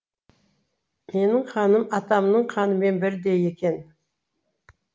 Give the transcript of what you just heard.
менің қаным атамның қанымен бірдей екен